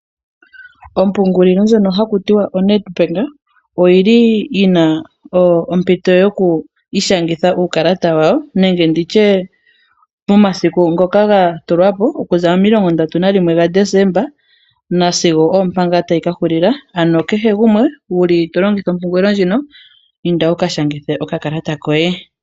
Ompungulilo ndjono haku ti wa oNedbank oyili yina ompito yoku i shangitha uukalata wa wo nenge nditye momasiku ngoka gatulwa po momilongo ndatu gaDesemba nasigo oompa ngaa tayi ka hulila, ano kehe gumwe wuli tolongitha ompungulilo ndjino i nda wuka shangithe okakalata koye.